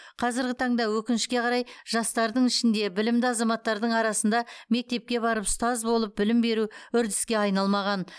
қазіргі таңда өкінішке қарай жастардың ішінде білімді азаматтардың арасында мектепке барып ұстаз болып білім беру үрдіске айналмаған